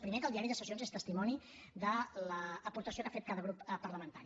primer que el diari de sessions és testimoni de l’aportació que ha fet cada grup parlamentari